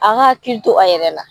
A ka hakili to a yɛrɛ la.